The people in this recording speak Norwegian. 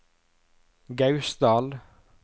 Gausdal